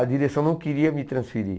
A direção não queria me transferir.